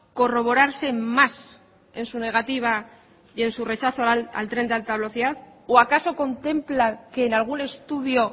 corroborarse más en su negativa y en su rechazo al tren de alta velocidad o acaso contempla que en algún estudio